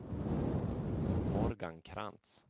Morgan Krantz